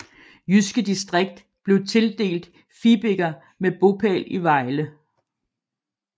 Jyske Distrikt blev tildelt Fibiger med bopæl i Vejle